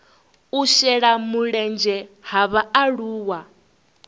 u shela mulenzhe ha vhaaluwa